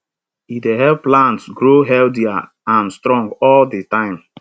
e dey help plants grow healthier and strong all di time